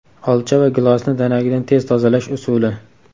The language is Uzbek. Olcha va gilosni danagidan tez tozalash usuli .